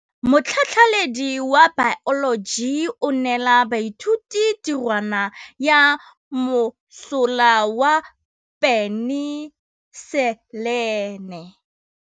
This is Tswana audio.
Motlhatlhaledi wa baeloji o neela baithuti tirwana ya mosola wa peniselene.